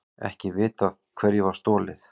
Ekki vitað hverju var stolið